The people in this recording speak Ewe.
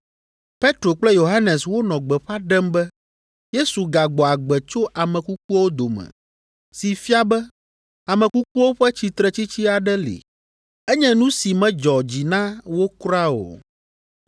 Petro kple Yohanes wonɔ gbeƒã ɖem be Yesu gagbɔ agbe tso ame kukuwo dome si fia be ame kukuwo ƒe tsitretsitsi aɖe li. Enye nu si medzɔ dzi na wo kuraa o.